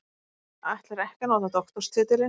Ætlar ekki að nota doktorstitilinn